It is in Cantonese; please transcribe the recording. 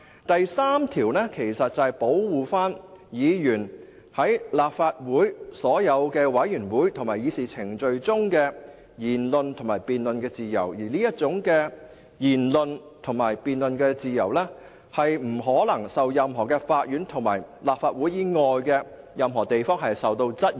第3條其實是保護議員在立法會所有委員會及議事程序中的言論及辯論自由，而這種言論及辯論自由不得在任何法院或立法會以外的任何地方受到質疑。